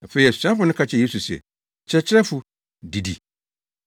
Afei asuafo no ka kyerɛɛ Yesu se, “Kyerɛkyerɛfo, didi.”